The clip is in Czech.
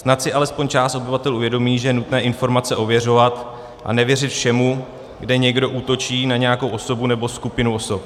Snad si alespoň část obyvatel uvědomí, že je nutné informace ověřovat a nevěřit všemu, kde někdo útočí na nějakou osobu nebo skupinu osob.